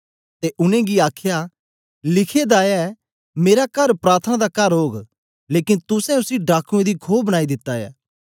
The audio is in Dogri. ते उनेंगी आखया लिखे दा ऐ मेरा कर प्रार्थना दा कर ओग लेकन तुसें उसी डाकुऐं दी खो बनाई दिता ऐ